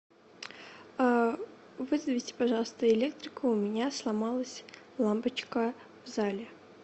вызовите пожалуйста электрика у меня сломалась лампочка в зале